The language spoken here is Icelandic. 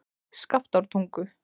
Skaftártungu